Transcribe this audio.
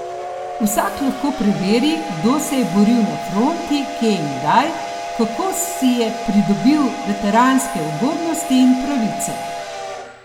Vsak lahko preveri, kdo se je boril na fronti, kje in kdaj, kako si je pridobil veteranske ugodnosti in pravice.